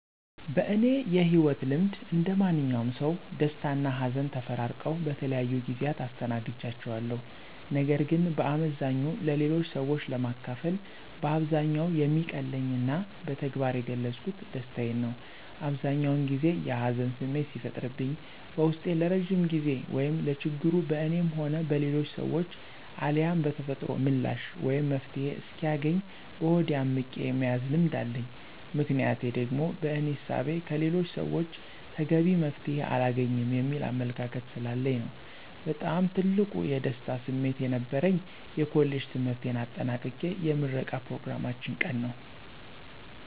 በእኔ የህይወት ልምድ እንደማንኛውም ሰው ደስታና ሀዘን ተፈራርቀው በተለያዩ ጊዜያት አስተናግጃቸዋለሁ። ነገር ግን በአመዛኙ ለሌሎች ሰዎች ለማካፈል በአብዛኛው የሚቀለኝና በተግባር የገለፅኩት ደስታዬን ነው። አብዛኛውን ጊዜ የሀዘን ስሜት ሲፈጠርብኝ በውስጤ ለረዥም ጊዜ ወይም ለችግሩ በእኔም ሆነ በሌሎች ሰዎች አልያም በተፈጥሮ ምላሽ ወይም መፍትሔ እስኪያገኝ በሆዴ አምቄ የመያዝ ልምድ አለኝ። ምክንያቴ ደግሞ በእኔ እሳቤ ከሌሎች ሰወች ተገቢ መፍትሔ አላገኝም የሚል አመለካከት ስላለኝ ነው። በጣም ትልቅ የደስታ ስሜት የነበረኝ የኮሌጅ ትምህርቴን አጠናቅቄ የምረቃ ኘሮግራማችን ቀን ነዉ።